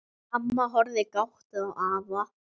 Amma horfir gáttuð á afa.